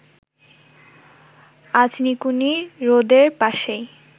আজনিকুনি হ্রদের পাশেই